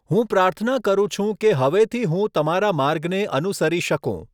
હું પ્રાર્થના કરું છું કે હવેથી હું તમારા માર્ગને અનુસરી શકું.